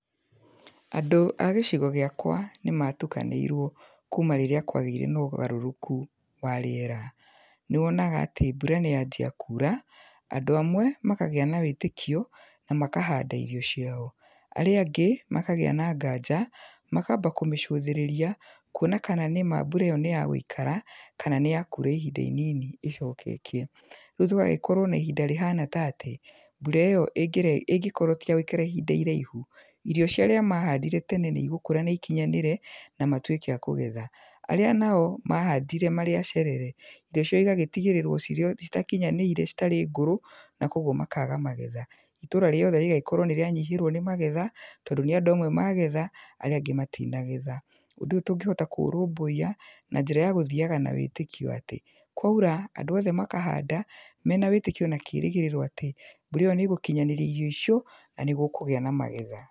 Andũ a gĩcigo gĩakwa nĩ matukanĩirwo kuuma rĩrĩa kwagĩire na ũgarũrũku wa rĩera, nĩ wonaga atĩ mbura nĩ yanjia kura, andũ amwe makagĩa na wĩtĩkio na makahanda irio ciao, arĩa angĩ makagĩa na nganja, makamba kũmĩcũthĩrĩria, kuona kana nĩma mbura ĩyo nĩyagũikara, kana nĩyakura ihinda inini ĩcoke ĩkĩe, rĩu tũgagĩkorwo na ihinda rĩhana tatĩ, mbura ĩyo ĩnge ĩngĩkorwo tiyagũikara ihinda iraihu, irio ciarĩa mahandire tene nĩ igũkũra na ikinyanĩre, na matuĩke a kũgetha, arĩa nao mahandire marĩacerere, irio ciao igagĩtigĩrĩrwo citakinyanĩire, irio citarĩ ngũrũ na kwoguo makaga magetha, itũra riothe rĩgagĩkorwo nĩrĩanyihĩrwo nĩ magetha, tondũ nĩ andũ amwe magetha, arĩa angĩ matinagetha, ũndũ ũyũ tũngĩhota kũũrũmbũyia na njĩra ya gũthiaga na wĩtĩkio atĩ, kwaira andũ othe makahanda, mena wĩtĩkio na kĩrĩgĩrĩro atĩ, mbura ĩyo nĩ ĩgũkinyanĩria irio icio na nĩ gũkũgĩa na magetha.